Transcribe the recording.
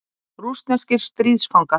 Rússneskir stríðsfangar.